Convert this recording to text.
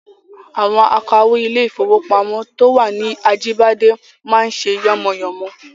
Àwọn akawó ilé-ìfowópamọ́ to wà ní Ajíbádé máa ń ṣe yánmọyànmọ